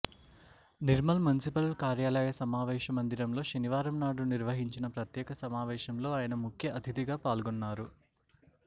Nirmal municipal కార్యాలయ సమావేశ మందిరంలో శనివారం నాడు నిర్వహించిన ప్రత్యేక సమావేశంలో ఆయన ముఖ్య అతిధిగా పాల్గొన్నారు